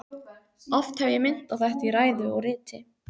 Oft hef ég minnt á þetta í ræðu og riti.